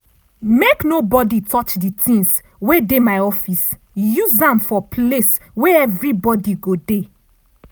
make nobody touch di tings wey dey my office use am for place wey everi body go dey.